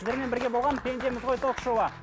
сіздермен бірге болған пендеміз ғой ток шоуы